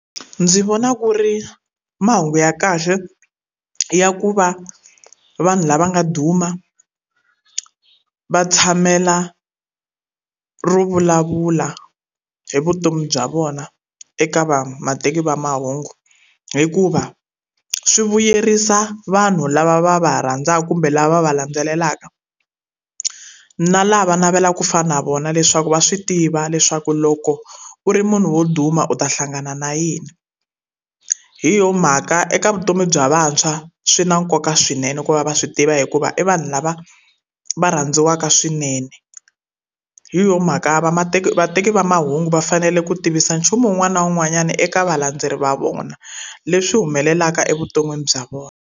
Ndzi vona ku ri mahungu ya kahle ya ku va vanhu lava nga duma va tshamela ro vulavula hi vutomi bya vona eka vateki va mahungu. Hikuva swi vuyerisa vanhu lava va va rhandzaka kumbe lava va va landzelelaka, na lava navelaka ku fana na vona leswaku va swi tiva leswaku loko u ri munhu wo duma u ta hlangana na yini. Hi yona mhaka eka vutomi bya vantshwa swi na nkoka swinene ku va va swi tiva hikuva i vanhu lava va rhandziwaka swinene. Hi yona mhaka vateki va mahungu va fanele ku tivisa nchumu wun'wana na wun'wanyana eka valandzeri va vona, leswi humelelaka evuton'wini bya vona.